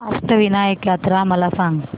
अष्टविनायक यात्रा मला सांग